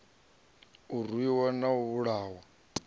a rwiwa na u vhulahwa